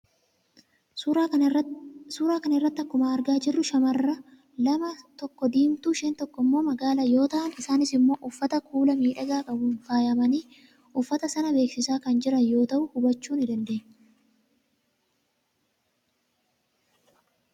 suuraa kana irratti akkuma argaa jirru shaamarran lama tokko diimtuu isheen tokko immoo magaala yoo ta'an isaanis immoo uffata kuula miidhagaa qabuun faayamanii uffata sana beeksisaa kan jiran ta'uu hubachuu ni dandeenya.